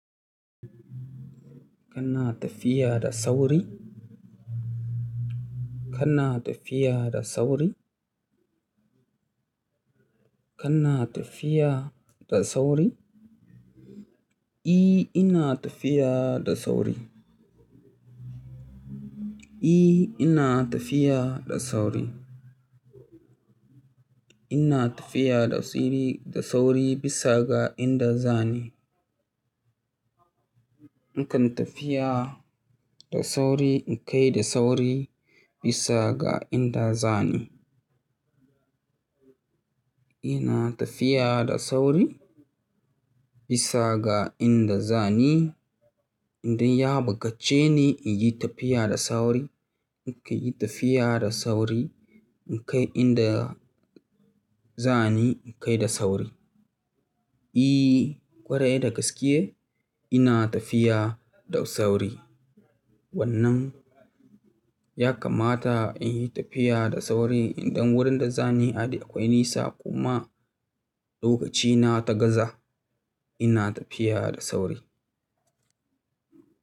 Kana tafiya da sauri? Kana tafiya da sauri? Kana tafiya da sauri? I, ina tafiya da sauri. I, ina tafiya da sauri. Ina tafiya da sauri, da sauri bisa ga inda zani. Na kan tafiya da sauri in kai da sauri bisa ga inda zani. Ina tafiya da sauri bisa ga inda zani. Indai ya buƙace ni in yi tafiya da sauri, na kan yi tafiya da sauri. In kai inda za ni, in kai da sauri. I, ƙwarai da gaske ina tafiya da sauri. Wannan ya kamata in yi tafiya da sauri idan wurin da za ni da akwai nisa kuma lokacina ta gaza, ina tafiya da sauri.